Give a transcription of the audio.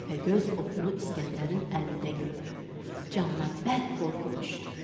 Təpəgöz oxu İsgəndərin əlində gördü, canına bərk qorxu düşdü.